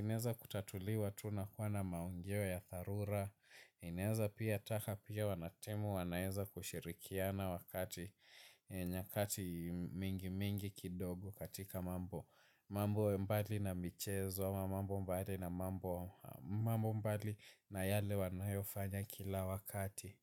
inaeza kutatuliwa tu unakuwa na maongeo ya tharura. Inaeza pia ataka pia wanatimu wanaeza kushirikiana wakati. Nyakati mingi mingi kidogo katika mambo. Mambo ya mbali na michezo, mambo mbali na mambo mbali na yale wanayofanya kila wakati.